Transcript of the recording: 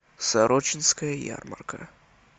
сорочинская ярмарка